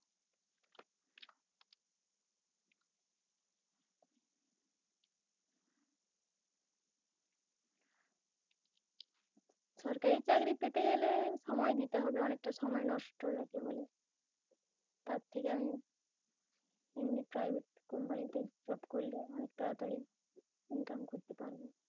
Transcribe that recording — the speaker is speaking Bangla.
সরকারি চাকরি পেতে গেলে সময় দিতে হবে৷ অনেকটা সময় নষ্ট হয়েছে বলে। তার থেকে আমি, এমনি private company তে job করলে অনেক তাড়াতাড়িই income করতে পারব